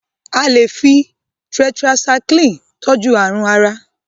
a lẹ fí tetracycline tọjú àrùn àrà